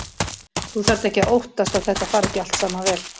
Þú þarft ekki að óttast að þetta fari ekki allt saman vel.